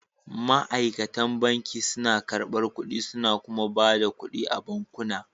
Ma'aikatan banki suna karɓar kuɗi suna kuma ba da kuɗi a bankuna